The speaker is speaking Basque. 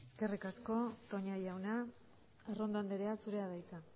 eskerrik asko toña jauna arrondo andrea zurea da hitza